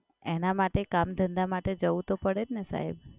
એના માટે કામ-ધંધા માટે જવું તો પડે જ ને સાહેબ.